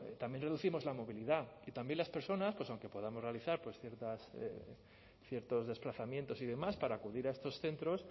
también reducimos la movilidad y también las personas pues aunque podamos realizar ciertos desplazamientos y demás para acudir a estos centros